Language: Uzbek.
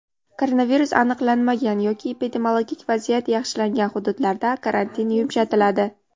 Koronavirus aniqlanmagan yoki epidemiologik vaziyat yaxshilangan hududlarda karantin yumshatiladi.